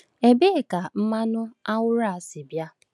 Ebee ka mmanụ anwụrụ a si bịa?